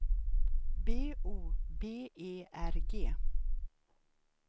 B O B E R G